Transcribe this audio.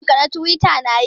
Shafin ka na twita na yi?